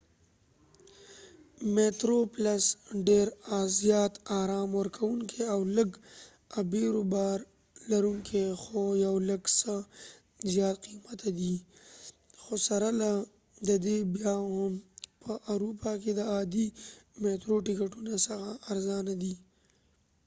میترو پلس ډیر زیات آرام ورکوونکی او لږ ابیرو بار لرونکي خو یو لږ څه زیات قیمته دی خو سره له دې بیا هم په اروپا کې د عادي میترو د ټکټونو څخه ارزانه دی